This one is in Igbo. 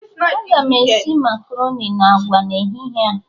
Aga m esi makaroni na agwa n'ehihie a